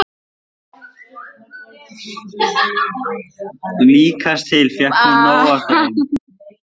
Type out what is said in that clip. Líkast til fékk hún nóg af þeim.